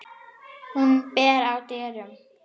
Hún ber að dyrum.